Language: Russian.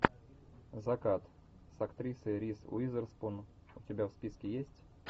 закат с актрисой риз уизерспун у тебя в списке есть